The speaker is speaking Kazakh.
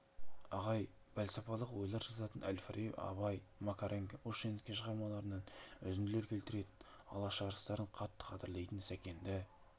ағай пәлсапалық ойлар жазатын әл-фараби абай макаренко ушинский шығармаларынан үзінділер келтіретін алаш арыстарын қатты қадірлейтін сәкенді